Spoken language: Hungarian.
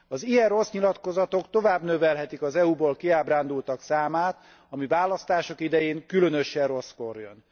Az ilyen rossz nyilatkozatok tovább növelhetik az EU ból kiábrándultak számát, ami választások idején különösen rosszkor jön.